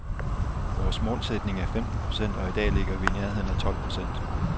Vores målsætning er femten procent, og i dag ligger vi i nærheden af tolv procent.